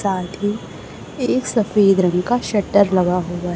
साथ ही एक सफेद रंग का शटर लगा होगा--